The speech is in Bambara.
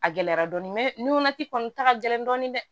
A gɛlɛyara dɔɔni nunati kɔni ta ka gɛlɛn dɔɔni dɛ